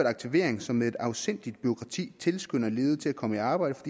aktivering som med et afsindigt bureaukrati tilskynder ledige til at komme i arbejde